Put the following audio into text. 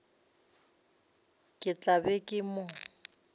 ke tla be ke mo